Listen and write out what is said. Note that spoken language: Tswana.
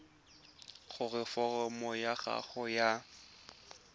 gore foromo ya gago ya